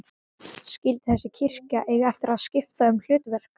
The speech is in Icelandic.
Skyldi þessi kirkja eiga eftir að skipta um hlutverk?